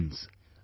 Friends,